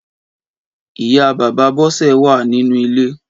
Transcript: Ìyá Bàbá Bose wà ninú ilé